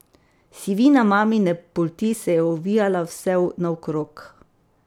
Sivina mamine polti se je ovijala vse naokrog.